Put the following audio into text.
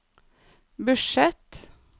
budsjett